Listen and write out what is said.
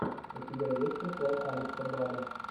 у тебя есть прикол алекса бада